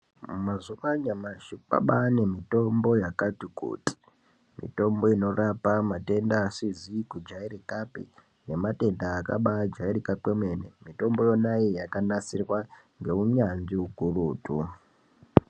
Mazuwa anyamashi kwabaane mitombo yakati kuti, mitombo inorapa matenda asizi kujairikapi, nematenda akabaajairika kwemene, mitombo yona iyi yakanasirwa ngeunyanzvi ukurutu.